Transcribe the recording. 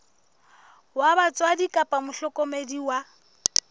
wa batswadi kapa mohlokomedi wa